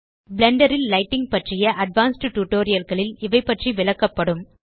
Blender ல் lighting பற்றிய advanced tutorial களில் இவை பற்றி விளக்கப்படும்